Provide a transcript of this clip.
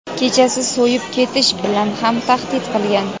"kechasi so‘yib ketish" bilan ham tahdid qilgan.